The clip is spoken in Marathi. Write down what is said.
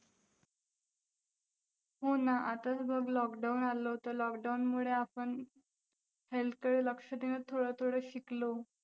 हो ना, आताच बघ lockdown आलं होतं, lockdown मुळे आपण health कडे लक्ष देणं थोडं थोडं शिकलो.